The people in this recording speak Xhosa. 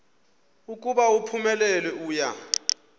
ukuba uphumelele uya